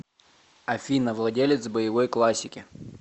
афина владелец боевой классики